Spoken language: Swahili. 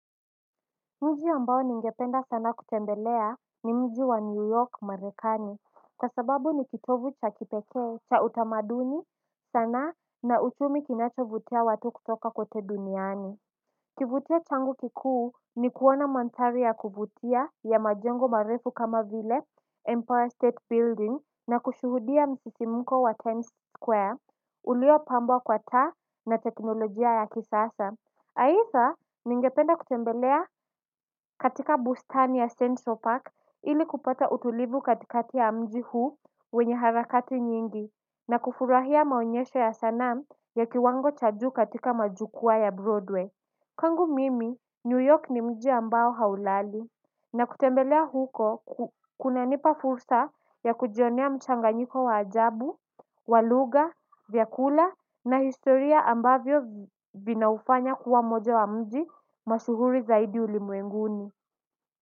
Mji ambao ningependa sana kutembelea ni mji wa new york marekani kwa sababu ni kitovu cha kipekee cha utamaduni sana na uchumi kinachovutia watu kutoka kote duniani. Kivutio changu kikuu ni kuona manthari ya kuvutia ya majengo marefu kama vile empire state building na kushuhudia msisikimuko wa tenis square uliopambwa kwa taa na teknolojia ya kisasa Heitha ningependa kutembelea katika bustani ya St. So Park ili kupata utulivu katikati ya mji huu wenye harakati nyingi na kufurahia maonyesho ya sanam ya kiwango cha juu katika majukwaa ya Broadway. Kwangu mimi new york ni mji ambao haulali na kutembelea huko kunanipa fursa ya kujionea mchanganyiko wa ajabu wa lugha vyakula na historia ambavyo vinaufanya kuwa moja wa mji mashuhuri zaidi ulimwenguni.